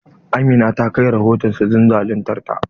Amina ta kai rahoton su don zaluntar ta.